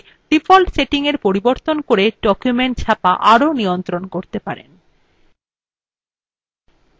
আপনি print বিকল্পটি ব্যবহার করে ডিফল্ট সেটিং পরিবর্তন করে document ছাপা আরও নিয়ন্ত্রণ করতে পারেন